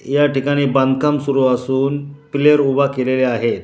या ठिकाणी बांधकाम सुरू असून प्लेयर उभा केलेले आहेत.